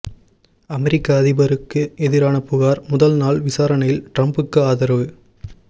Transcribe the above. அமெரிக்க அதிபருக்கு எதிரான புகார் முதல் நாள் விசாரணையில் ட்ரம்புக்கு ஆதரவு